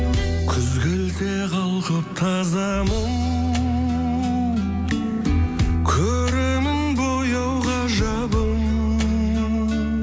күз келсе қалқып таза мұң көремін бояу ғажабын